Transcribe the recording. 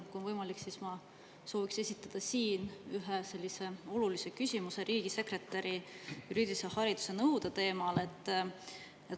Kui on võimalik, siis ma sooviks esitada siin ühe olulise küsimuse riigisekretäri juriidilise hariduse nõude teemal.